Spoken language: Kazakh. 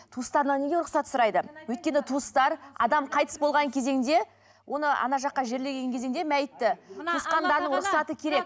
туыстарынан неге рұқсат сұрайды өйткені туыстар адам қайтыс болған кезеңде оны ана жаққа жерлеген кезеңде мәйтті туысқандарының рұқсаты керек